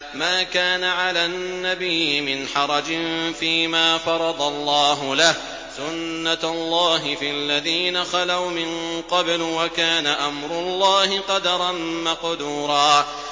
مَّا كَانَ عَلَى النَّبِيِّ مِنْ حَرَجٍ فِيمَا فَرَضَ اللَّهُ لَهُ ۖ سُنَّةَ اللَّهِ فِي الَّذِينَ خَلَوْا مِن قَبْلُ ۚ وَكَانَ أَمْرُ اللَّهِ قَدَرًا مَّقْدُورًا